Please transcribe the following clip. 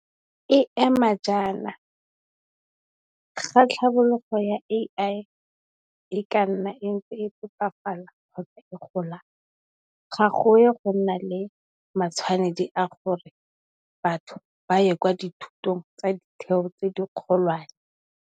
E ema jaana, ga tlhabologo ya AI e ka nna e ntse e phepafala kgotsa e gola ga go ye go nna le matshwanedi a gore batho ba ye kwa dithutong tsa ditheo tse di kgolwane.